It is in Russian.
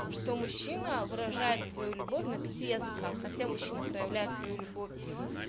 что мужчина выражает свою любовь на пяти языках хотя мужчина проявляет свою любовь